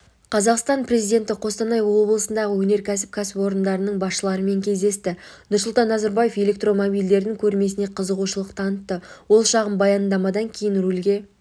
қазақстан президенті қостанай облысындағы өнеркәсіп кәсіпорындарының басшыларымен кездесті нұрсұлтан назарбаев электромобильдердің көрмесіне қызығушылық танытты ол шағын баяндамадан кейін рульге